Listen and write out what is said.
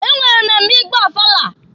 E nwere mmemme ị gba ọfala.